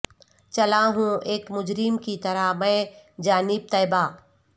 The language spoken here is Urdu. چلا ہوں ایک مجرم کی طرح میں جانب طیبہ